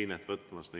einet võtmas.